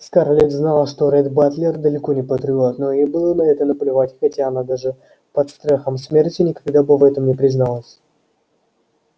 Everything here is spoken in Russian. скарлетт знала что ретт батлер далеко не патриот но ей было на это наплевать хотя она даже под страхом смерти никогда бы в этом не призналась